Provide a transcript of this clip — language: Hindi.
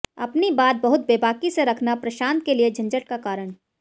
अपनी बात बहुत बेबाकी से रखना प्रशांत के लिए झंझट का कारण